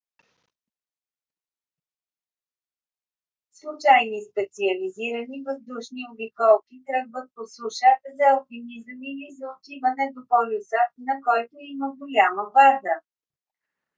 случайни специализирани въздушни обиколки тръгват по суша за алпинизъм или за отиване до полюса на който има голяма база